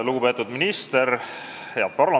Lugupeetud minister!